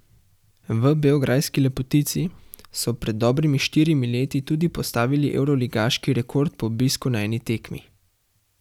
V beograjski lepotici so pred dobrimi štirimi leti tudi postavil evroligaški rekord po obisku na eni tekmi.